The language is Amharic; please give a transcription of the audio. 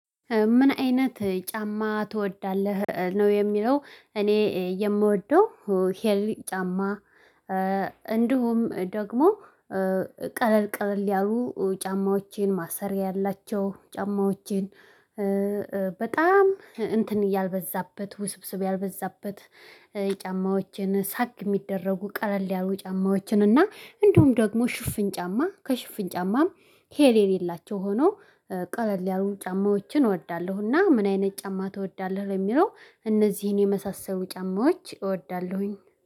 ምን አይነት ጫማ ትወዳለህ ነው የሚለው እኔ የምወደው ሂል ጫማ። እንዲሁም ደግሞ ቀለል ቀለል ያሉ ጫማዎችን ማሰሪያ ያላቸው ጫማዎችን። በጣም እንትን ያልበዛበት ውስብስብ ያልበዛበት። ጫማዎችን ሳክ የሚደረጉ ቀለል ያሉ ጫማዎችን እና እንዲሁም ደግሞ ሽፍን ጫማ ከሽፍን ጫማም ሂሌ የሌላቸው ሆኖ። ቀለል ያሉ ጫማዎችን እወዳለሁና። ምን አይነት ጫማ ትወዳለህ? በሚለው እነዚህን የመሳሰሉ ጫማዎች እወዳለሁኝ